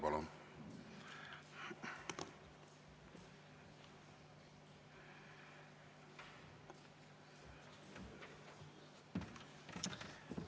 Palun!